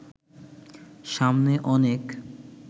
সামনে অনেক